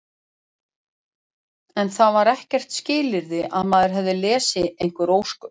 En það var ekkert skilyrði að maður hefði lesið einhver ósköp.